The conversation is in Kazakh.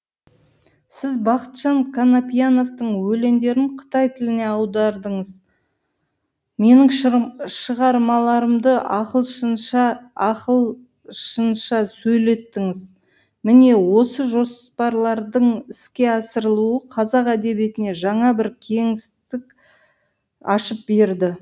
сіз бақытжан қанапияновтың өлеңдерін қытай тіліне аудардыңыз менің шығармаларымды ақылшынша сөйлеттіңіз міне осы жоспарлардың іске асырылуы қазақ әдебиетіне жаңа бір кеңістік ашып берді